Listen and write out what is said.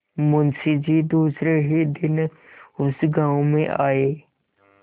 मुँशी जी दूसरे ही दिन उस गॉँव में आये